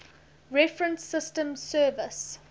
reference systems service